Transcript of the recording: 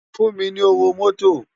Fún mi ni ówó mòtó